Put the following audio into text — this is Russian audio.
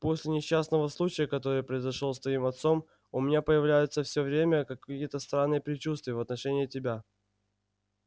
после несчастного случая который произошёл с твоим отцом у меня появляются все время какие-то странные предчувствия в отношении тебя